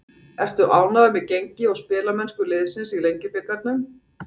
Ertu ánægður með gengi og spilamennsku liðsins í Lengjubikarnum?